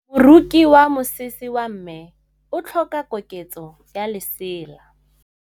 Moroki wa mosese wa me o tlhoka koketsô ya lesela.